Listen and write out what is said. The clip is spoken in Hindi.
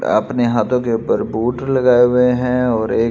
अपने हाथों के ऊपर बूट लगाए हुए हैं और--